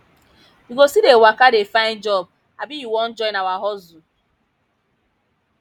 you go still dey waka dey find job abi you wan join our hustle